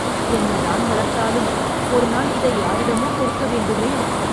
என்னதான் வளர்த்தாலும் ஒரு நாள் இதை யாரிடமோ கொடுக்க வேண்டுமே